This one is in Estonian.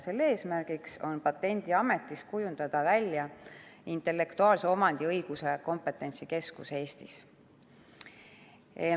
Selle eesmärk on Patendiametis kujundada välja intellektuaalse omandi õiguse kompetentsikeskus Eestis.